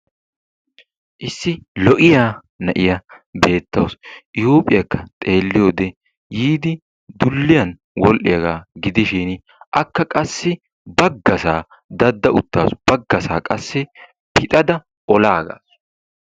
Issi lo''iya na'iya beettawusu. I huuphiyakka xeeliyode yiidi dulliyan wodhdhiyaga gidishin akka qassi baggasa dadda uttaasu baggaasa qassi pixada olaagaasu.